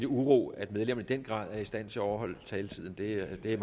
uro at medlemmerne i den grad er i stand til at overholde taletiden det er